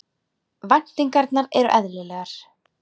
Væntingarnar eru eðlilegar